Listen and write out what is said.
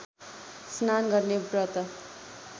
स्नान गर्ने व्रत